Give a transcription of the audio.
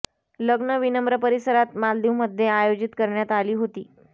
लग्न विनम्र परिसरात मालदीव मध्ये आयोजित करण्यात आली होती